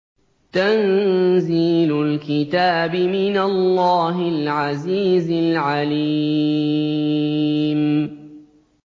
تَنزِيلُ الْكِتَابِ مِنَ اللَّهِ الْعَزِيزِ الْعَلِيمِ